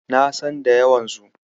Na san da yawansu.